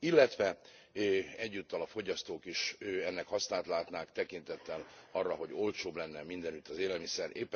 Illetve egyúttal a fogyasztók is ennek hasznát látnák, tekintettel arra, hogy olcsóbb lenne mindenütt az élelmiszer.